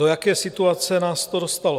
Do jaké situace nás to dostalo?